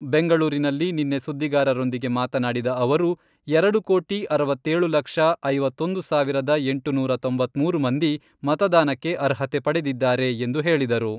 ಬೆಂಗಳೂರಿನಲ್ಲಿ ನಿನ್ನೆ ಸುದ್ದಿಗಾರರೊಂದಿಗೆ ಮಾತನಾಡಿದ ಅವರು, ಎರಡು ಕೋಟಿ ಅರವತ್ತೇಳು ಲಕ್ಷ , ಐವತ್ತೊಂದು ಸಾವಿರದ ಎಂಟುನೂರ ತೊಂಬತ್ಮೂರು ಮಂದಿ ಮತದಾನಕ್ಕೆ ಅರ್ಹತೆ ಪಡೆದಿದ್ದಾರೆ, ಎಂದು ಹೇಳಿದರು.